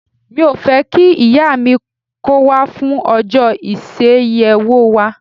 Mi ò fẹ́ kí ìyá mi kó wá fún ọjọ́ ìyeṣẹ́wò wa.